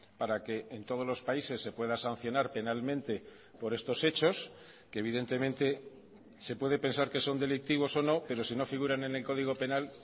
para que en todos los países se pueda sancionar penalmente por estos hechos que evidentemente se puede pensar que son delictivos o no pero si no figuran en el código penal